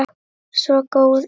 Svo góð er hún.